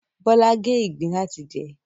Bọ́lá gé ìgbín láti jẹ